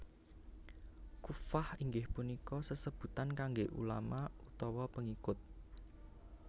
Kuffah inggih punika sesebutan kangge ulama utawa pengikut